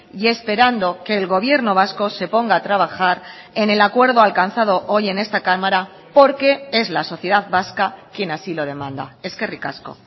y esperando que el gobierno vasco se ponga a trabajar en el acuerdo alcanzado hoy en esta cámara porque es la sociedad vasca quien así lo demanda eskerrik asko